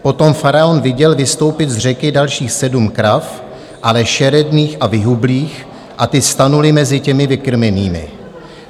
Potom faraon viděl vystoupit z řeky dalších sedm krav, ale šeredných a vyhublých, a ty stanuly mezi těmi vykrmenými.